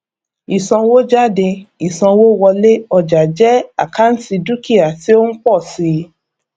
ìsanwójáde ìsanwówọlé ọjà jẹ àkáǹtì dúkìá tí ó ń pọ síi